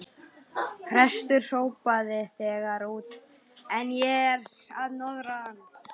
Presturinn hrópaði þegar út kom: En ég er að norðan!